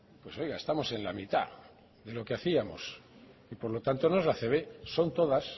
pues oiga estamos en la mitad de lo que hacíamos y por lo tanto no es la acb son todas